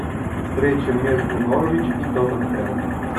встреча между норвич и тоттенхэм